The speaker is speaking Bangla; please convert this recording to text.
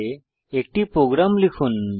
ইঙ্গিত ifএলসে আইএফ স্টেটমেন্টের ব্যবহার